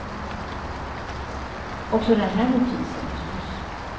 Och så den här notisen förstås.